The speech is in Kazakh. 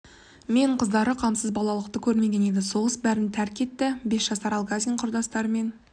мен қыздары қамсыз балалықты да көрмеген еді соғыс бәрін тәрк етті бес жасар алгазин құрдастарымен